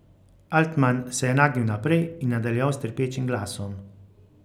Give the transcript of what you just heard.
Altman se je nagnil naprej in nadaljeval s trpečim glasom.